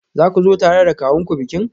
Za ku zo tare da kawunku bikin?